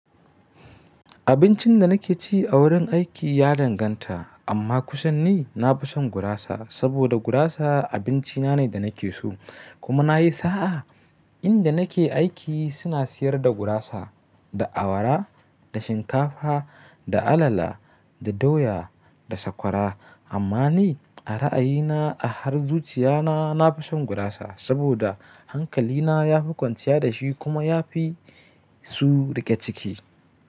Abincin da nake ci a wurin aiki ya danganta, amma kusan ni na fi son gurasa saboda gurasa abinci na ne da nake so. Kuma na yi sa'a, inda nake aiki suna siyar da gurasa, da awara, da shinkafa, da alala, da doya, da sakwara. Amma ni a ra'ayina a har zuciya na, na fi son gurasa saboda hankali na ya fi kwanciya da shi kuma ya fi su riƙe ciki.